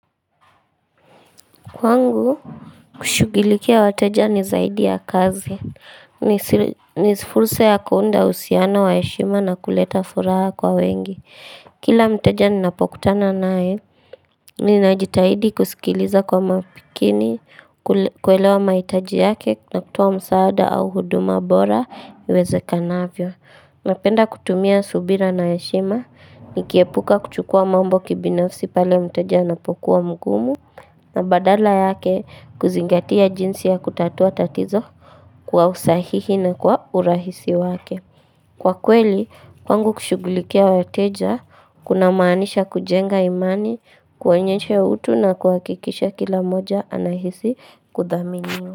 Kwangu, kushughulikia wateja ni zaidi ya kazi, ni si fursa ya kuunda uhusiano wa heshima na kuleta furaha kwa wengi Kila mteja ninapokutana naye, ninajitahidi kusikiliza kwa makini, kuelewa mahitaji yake na kutoa msaada au huduma bora, iwezekanavyo Napenda kutumia subira na heshima, nikiepuka kuchukua mambo kibinafsi pale mteja napokuwa mgumu na badala yake kuzingatia jinsi ya kutatua tatizo kwa usahihi na kwa urahisi wake. Kwa kweli, kwangu kushugulikia wateja, kuna maanisha kujenga imani, kuwenyesha ya utu na kuakikisha kila moja anahisi kudhaminio.